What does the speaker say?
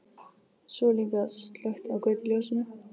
Svo er líka slökkt á götuljósinu.